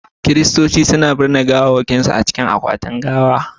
Kiristoci na binne gawawwakinsu a cikin akwatin gawa.